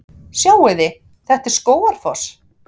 Sjáiði! Þetta er Skógafoss.